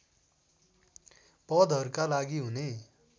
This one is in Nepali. पदहरूका लागि हुने